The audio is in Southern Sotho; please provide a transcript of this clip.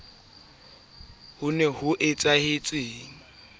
ya ho se akaretse ba